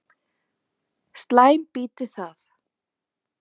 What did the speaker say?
Slæm býti það.